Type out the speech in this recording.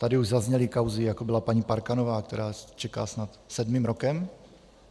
Tady už zazněly kauzy, jako byla paní Parkanová, která čeká snad sedmým rokem?